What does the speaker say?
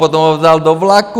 Potom ho vzal do vlaku.